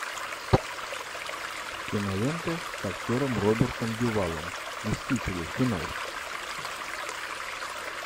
киноленты с актером робертом дюваллом мстители финал